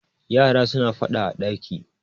yara suna fada a daki